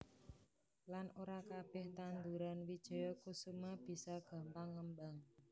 Lan ora kabeh tandhuran wijaya kusuma bisa gampang ngembang